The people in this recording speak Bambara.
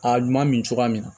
A ɲuman min cogoya min na